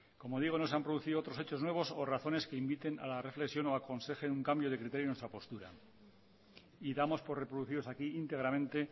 como digo no se han producido otros hechos nuevos a razones que inviten a la reflexión o aconsejen un cambio de criterio en nuestra postura y damos por reproducidos aquí íntegramente